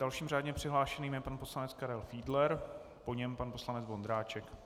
Dalším řádně přihlášeným je pan poslanec Karel Fiedler, po něm pan poslanec Vondráček.